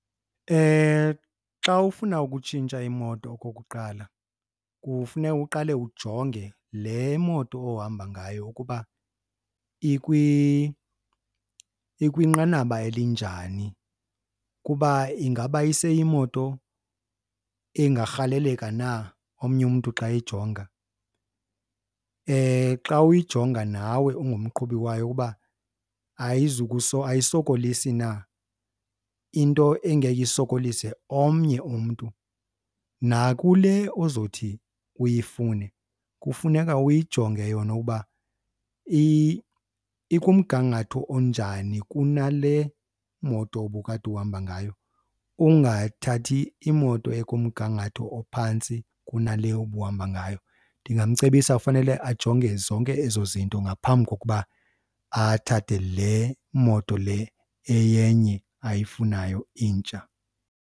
Xa ufuna ukutshintsha imoto okokuqala kufuneka uqale ujonge le moto ohamba ngayo ukuba ikwinqanaba elinjani, kuba ingaba iseyimoto engarhaleleka na omnye umntu xa eyijonga. Xa uyijonga nawe ungumqhubi wayo uba ayisokolisi na, into engeke isokolise omnye umntu. Nakule ozothi uyifune kufuneka uyijonge yona uba ikumgangatho onjani kunale moto ubukade uhamba ngayo, ungathathi imoto ekumgangatho ophantsi kunale ubuhamba ngayo. Ndingamcebisa fanele ajonge zonke ezo zinto ngaphambi kokuba athathe le moto le eyenye ayifunayo intsha.